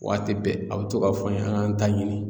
Waati bɛɛ a bɛ to ka fɔ an ye an k'an ta ɲini